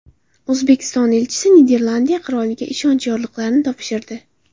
O‘zbekiston elchisi Niderlandiya qiroliga ishonch yorliqlarini topshirdi.